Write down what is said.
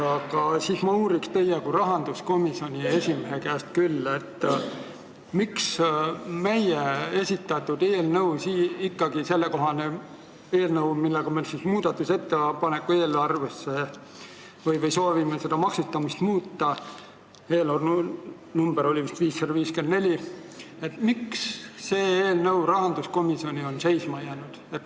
Aga ma uurin teie kui rahanduskomisjoni esimehe käest, miks ikkagi on meie esitatud eelnõu – selle number on vist 554 –, millega me tegime muudatusettepaneku eelarve kohta ja millega me soovime seda maksustamist muuta, rahanduskomisjoni seisma jäänud.